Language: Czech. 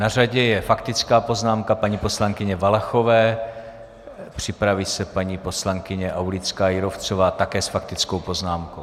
Na řadě je faktická poznámka paní poslankyně Valachové, připraví se paní poslankyně Aulická Jírovcová také s faktickou poznámkou.